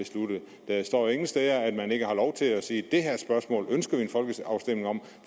der står ingen steder at man ikke har lov til at sige det her spørgsmål ønsker vi en folkeafstemning om